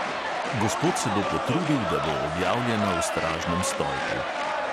Gospod se bo potrudil, da bo objavljena v stražnem stolpu.